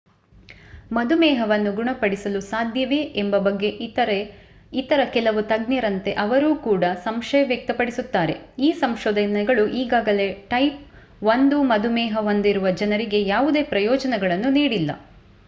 ಮಧುಮೇಹವನ್ನು ಗುಣಪಡಿಸಲು ಸಾಧ್ಯವೇ ಎಂಬ ಬಗ್ಗೆ ಇತರೆ ಇತರ ಕೆಲವು ತಜ್ಞರಂತೆ ಅವರು ಕೂಡ ಸಂಶಯ ವ್ಯಕ್ತಪಡಿಸುತ್ತಾರೆ ಈ ಸಂಶೋಧನೆಗಳು ಈಗಾಗಲೇ ಟೈಪ್ 1 ಮಧುಮೇಹ ಹೊಂದಿರುವ ಜನರಿಗೆ ಯಾವುದೇ ಪ್ರಯೋಜನಗಳನ್ನು ನೀಡಿಲ್ಲ